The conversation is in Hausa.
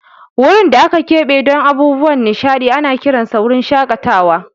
Wurin da aka keɓe don abubuwan nishaɗi ana kiransa wurin shakatawa.